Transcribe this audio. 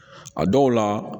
A dɔw la